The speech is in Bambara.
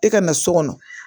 E ka na so kɔnɔ